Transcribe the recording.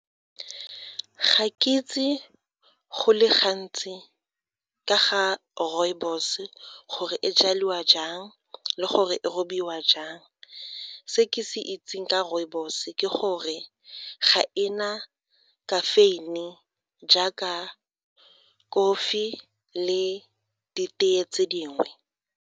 Ga ke itse go le gantsi ka ga rooibos gore e jalwa jang le gore e robiwa jang se ke se itseng ka rooibos ke gore ga e na caffeine jaaka kofi le ditee tse dingwe.